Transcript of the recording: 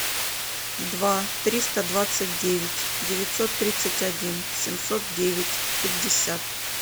два триста двадцать девять девятьсот тридцать один семьсот девять пятьдесят